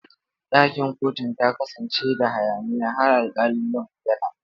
Ɗakin kotun ta kasance da hayaniya har alƙali ya bayyana.